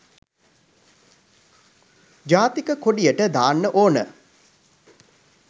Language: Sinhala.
ජාතික කොඩියට දාන්න ඕන